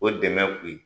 O dɛmɛ kun ye